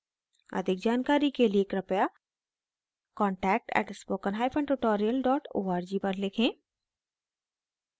अधिक जानकारी के लिए कृपया contact at spoken hyphen tutorial dot org पर लिखें